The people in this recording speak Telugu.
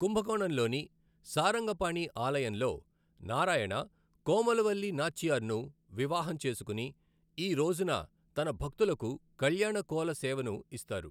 కుంభకోణంలోని సారంగపాణి ఆలయంలో, నారాయణ, కోమలవల్లి నాచ్చియర్ను వివాహం చేసుకుని, ఈ రోజున తన భక్తులకు కల్యాణ కోల సేవను ఇస్తారు .